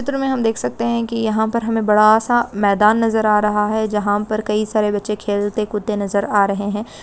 चित्र में हम देख सकते है कि यहाँ पर हमें बड़ा-आ सा मैदान नजर आ रहा है। जहाँ पर कइ सारे बच्चे खेलते कूदते नजर आ रहे है।